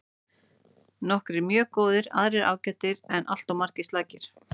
Nokkrir mjög góðir aðrir ágætir en alltof margir slakir.